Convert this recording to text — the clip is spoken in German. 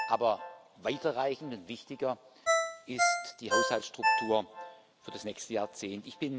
Aber weiter reichend und wichtiger ist die Haushaltsstruktur für das nächste Jahrzehnt.